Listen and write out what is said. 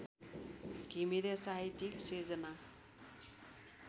घिमिरे साहित्यिक सिर्जना